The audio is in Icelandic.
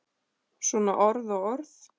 Svona orð og orð.